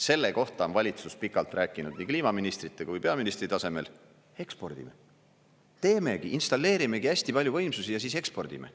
Selle kohta on valitsus pikalt rääkinud nii kliimaministrite kui peaministri tasemel – ekspordime, teemegi, installeerimegi hästi palju võimsusi ja siis ekspordime.